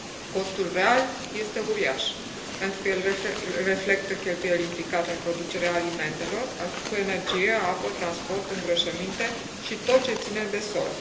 Costul real este uriaș pentru că el reflectă cheltuieli implicate în producerea alimentelor cu energie, apă, transport, îngrășăminte și tot ce ține de sol.